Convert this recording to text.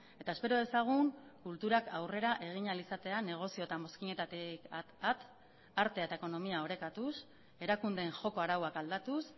eta espero dezagun kulturak aurrera egin ahal izatea negozio eta mozkinetatik at artea eta ekonomia orekatuz erakundeen joko arauak aldatuz